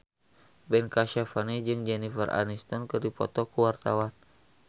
Ben Kasyafani jeung Jennifer Aniston keur dipoto ku wartawan